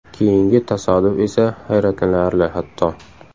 Keyingi tasodif esa hayratlanarli hatto.